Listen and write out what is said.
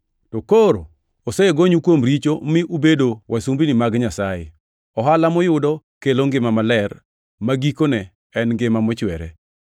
To ka koro osegonyu kuom richo mi ubedo wasumbini mag Nyasaye, ohala muyudo kelo ngima maler ma gikone en ngima mochwere.